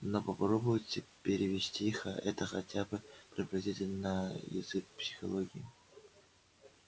но попробуйте перевести это хотя бы приблизительно на язык психологии